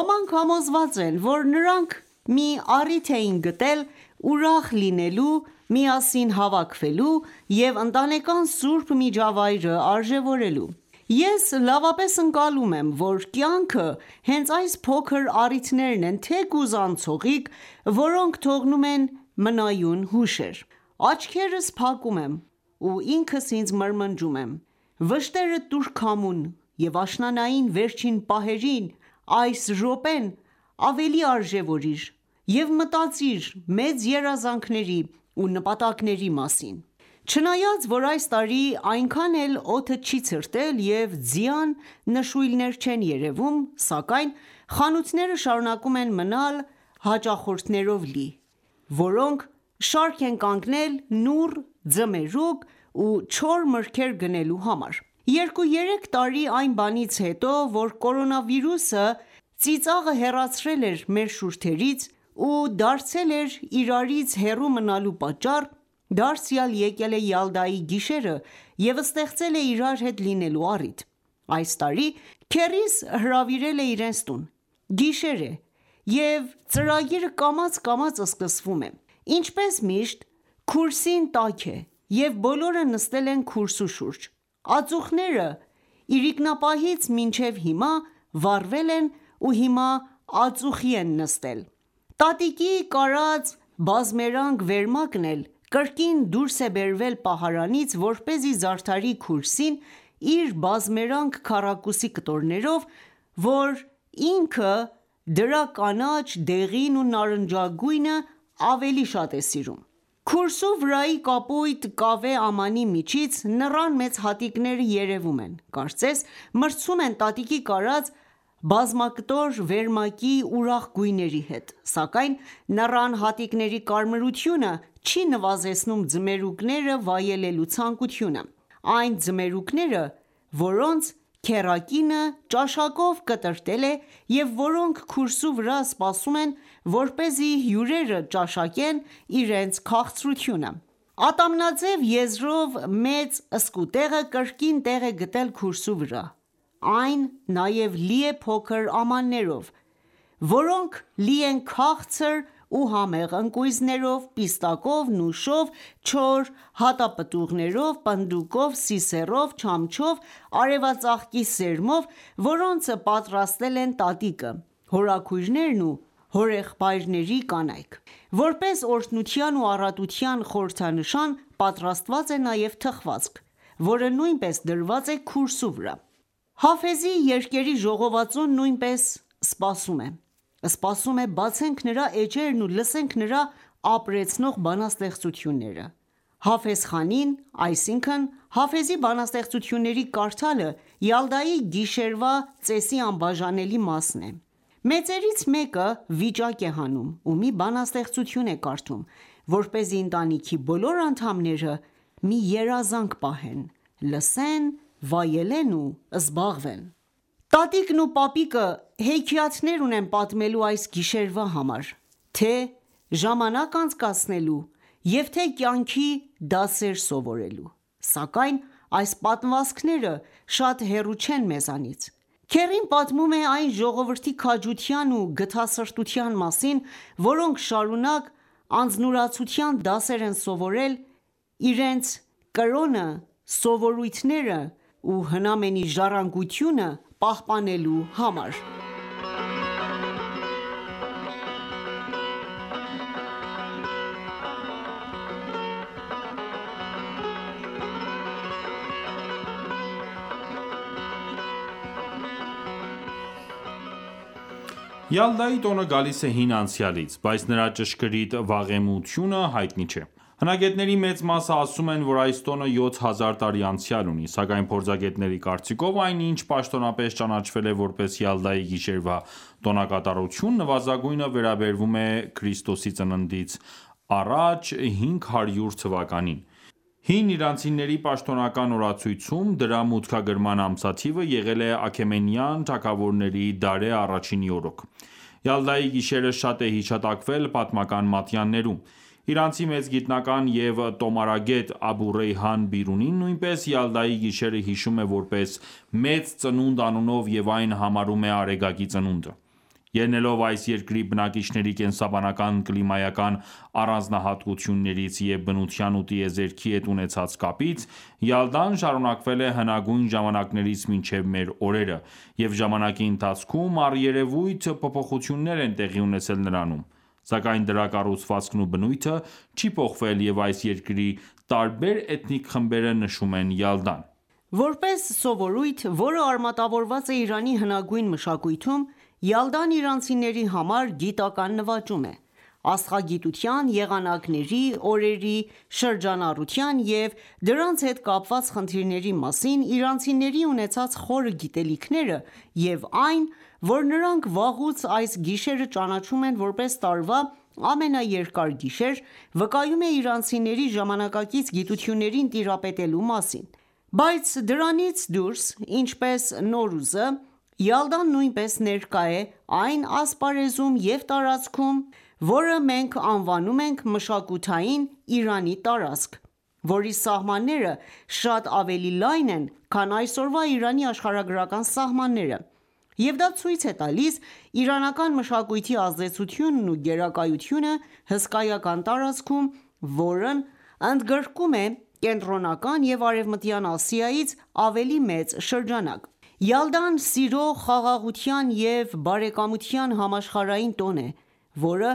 Ոմանք համոզված են, որ նրանք մի առիթ էին գտել ուրախ լինելու, միասին հավաքվելու և ընտանեկան սուրբ միջավայրը արժևորելու: Ես լավապես ընկալում եմ, որ կյանքը հենց այս փոքր առիթներն են՝ թեկուզ անցողիկ, որոնք թողնում են մնայուն հուշեր: Աչքերս փակում եմ ու ինքս ինձ մրմնջում եմ.«Վշտերդ տուր քամուն և աշնանային վերջին պահերին այս րոպեն ավելի արժևորիր և մտածիր մեծ երազանքների ու նպատակների մասին»: Չնայած որ այս տարի այնքան է օդը չի ցրտել և ձյան նշույլներ չեն երևում, սակայն խանութները շարունակում եմ մնալ հաճախորդներով լի, որոնք շարք են կանգնել նուռ, ձմերուկ ու չոր մրգեր գնելու համար: Երկու երեք տարի այն բանից հետո, որ կորոնավիրուսը ծիծաղը հեռացրել էր մեր շուրթերից ու դարձել էր իրարից հեռու մնալու պատճառ, դարձյալ եկել է Յալդայի գիշերը և ստեղծել է իրար հետ լինելու առիթ: Այս տարի քեռիս հրավիրել է իրենց տուն: Գիշեր է և ծրագիրը կամաց-կամաց սկսվում է: Ինչպես միշտ քուրսին տաք է և բոլորը նստել են քուրսու շուրջ: Ածուխները իրիկնապահից մինչև հիմա վառվել են ու հիմա ածուխի են նստել: Տատիկի կարած բազմերանգ վերմակն էլ կրկին դուրս է բերվել պահարանից որպեսզի զարդարի քուրսին իր բազմերանգ քառակուսի կտորներով, որ ինքը դրա կանաչ, դեղին ու նարնջագույնը ավելի շատ է սիրում: Քուրսու վրայի կապույտ կավե ամանի միջից նռան մեծ հատիկները երևում են, կարծես մրցում են տատիկի կարած բազմակտոր վերմակի ուրախ գույների հետ, սակայն նռան հատիկների կարմրությունը չի նվազեցնում ձմերուկները վայելելու ցանկությունը: Այն ձմերուկները, որոնց քեռակինը ճաշակով կտրատել է և որոնք քուրեսու վրա սպասում են որպեսզի հյուրերը ճաշակեն իրենց քաղցրությունը: Ատամնաձև եզրով մեծ սկուտեղը կրկին տեղ է գտել քուրսու վրա։ Այն նաև լի է փոքր ամաններով, որոնք լի են քաղցր ու համեղ ընկույզներով, Պիստակով, նուշով, չոր հատապտուղներով, պնդուկով, սիսեռով, չամչով, արևածաղկի սերմով, որոնց պատրաստել են տատիկը, հորաքույրներն ու հորեղբայրների կանայք: Որպես օրհնության ու առատության խորհրդանշան պատրաստված է նաև թխվածք, որը նույնպես դրված է քուրսու վրա: Հաֆեզի երկերի ժողովածուն նույնպես սպասում է: Սպասում է բացենք նրա էջերն ու լսենք նրա ապրեցնող բանաստեղծությունները: Հաֆեզխանին այսինքն Հաֆեզի բանաստեղծությունների կարդալը Յալդայի գիշերվա ծեսի անբաժանելի մասն է: Մեծերից մեկը վիճակ է հանում ու մի բանաստեղծություն է կարդում, որպեսզի ընտանքի բոլոր անդամները մի երազանք պահեն, լսեն, վայելեն ու զբաղվեն: Տատիկն ու պապիկը հեքիաթներ ունեն պատմելու այս գիշերվա համար՝ թե՛ ժամանակ անցկացնելու և թե՛ կյանքի դասեր սովորելու: Սակայն այս պատմվածքները շատ հեռու չեն մեզանից: Քեռին պատմում է այն ժողովրդի քաջության ու գթասրտության մասին, որոնք շարունակ անձնուրացության դասեր են սովորել իրենց կրոնը, սովորույթներն ու հնամենի ժառանգությունը պահպանելու համար: Յալդայի տոնը գալիս է հին անցյալից, բայց նրա ճշգրիտ վաղեմությունը հայտնի չէ: Հնագետների մեծ մասը ասում են, որ այս տոնը յոթ հազար տարի անցյալ ունի: Սակայն փորձագետների կարծիքով այն ինչ պաշտոնապես ճանաչվել է որպես Յալդայի գիշերվա տոնակատարություն նվազագույնը վերաբերում է Ք.Ծ.Ա 500 թվականին, hին իրանցիների պաշտոնական օրացույցում դրա մուտքագրման ամսաթիվը եղել է Աքեմենյան թագավորների Դարեհ I-ի օրոք։ Յալդայի գիշերը շատ է հիշատակվել պատմական մատյաններում: Իրանցի մեծ գիտնական և տոմարագետ «Աբու Ռեյհան Բիրունին» նույնպես Յալդայի գիշերը հիշում է որպես մեծ ծնունդ անունով և այն համարում է արեգակի ծնունդը: Ելնելով այս երկրի բնակիչների կենսաբանական կլիմայական առանձնահատկություններից և բնության ու տիեզերքի հետ ունեցած կապից՝ Յալդան շարունակվել է հնագույն ժամանակներից մինչև մեր օրերը, և ժամանակի ընթացքում առերևույթ փոփոխություններ են տեղի ունեցել նրանում, սակայն դրա կառուցվածքն ու բնույթը չի փոխվել, և այս երկրի տարբեր էթնիկ խմբերը նշում են «Յալդան»: Որպես սովորույթ, որը արմատավորված է Իրանի հնագույն մշակույթում, Յալդան իրանցիների համար գիտական նվաճում է: Աստղագիտության, եղանակների, օրերի շրջանառության և դրանց հետ կապված խնդիրների մասին իրանցիների ունեցած խորը գիտելիքները, և այն որ, նրանք վաղուց այս գիշերը ճանաչում են որպես տարվա ամենաերկար գիշեր, վկայում է իրանցիների ժամանակակից գիտություններին տիրապետելու մասին։ Բայց դրանից դուրս, ինչպես Նովրուզը, Յալդան նույնպես ներկա է այն ասպարեզում և տարածքում, որը մենք անվանում ենք մշակութային Իրանի տարածք, որի սահմանները շատ ավելի լայն են, քան այսօրվա Իրանի աշխարհագրական սահմանները, և դա ցույց է տալիս իրանական մշակույթի ազդեցությունն ու գերակայությունը հսկայական տարածքում, որն ընդգրկում է Կենտրոնական և Արևմտյան Ասիայից ավելի մեծ շրջանակ: Յալդան սիրո, խաղաղության և բարեկամության համաշխարհային տոն է, որը